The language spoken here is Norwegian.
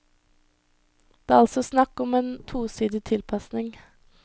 Det er altså snakk om en tosidig tilpasning.